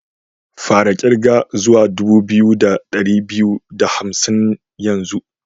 Fara kirga zuwa dubu biyu da dari biyu da hamsin yanzu!